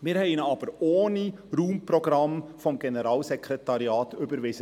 Wir haben ihn aber damals ohne Raumprogramm des Generalssekretariats überwiesen.